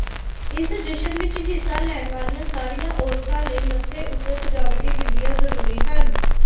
ਇਸ ਜਸ਼ਨ ਵਿਚ ਹਿੱਸਾ ਲੈਣ ਵਾਲੀਆਂ ਸਾਰੀਆਂ ਔਰਤਾਂ ਲਈ ਮੱਥੇ ਉੱਤੇ ਸਜਾਵਟੀ ਬਿੰਦੀਆਂ ਜ਼ਰੂਰੀ ਹਨ